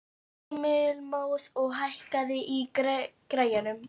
Heilmóður, hækkaðu í græjunum.